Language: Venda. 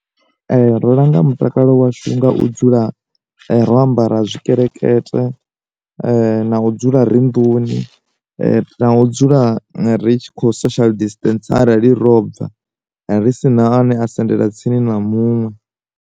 Ndo langa mutakalo washu nga u dzula ro ambara tshikelekete, na u dzula ri nduni, na u dzula ri tshi kho social distensa arali robva ri si na ane a sendela tsini na muṅwe.